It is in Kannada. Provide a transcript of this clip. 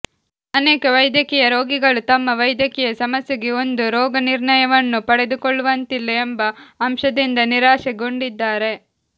ಅನೇಕ ವೈದ್ಯಕೀಯ ರೋಗಿಗಳು ತಮ್ಮ ವೈದ್ಯಕೀಯ ಸಮಸ್ಯೆಗೆ ಒಂದು ರೋಗನಿರ್ಣಯವನ್ನು ಪಡೆದುಕೊಳ್ಳುವಂತಿಲ್ಲ ಎಂಬ ಅಂಶದಿಂದ ನಿರಾಶೆಗೊಂಡಿದ್ದಾರೆ